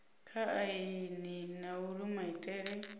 kha aini na uri maitele